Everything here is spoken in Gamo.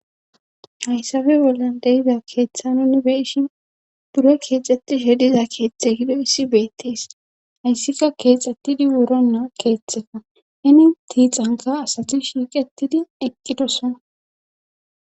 Hayssafe bolla deyida keeththa nunni beyishin bure keexxetishe diza keeththe gido issi beettees hayssika keexxettidi wuronnaa keeththefa ini tiixanka asati shiiqetidi eqqidosona.